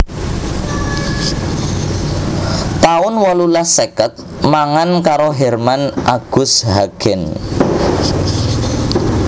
taun wolulas seket mangan karo Herman Agus Hagen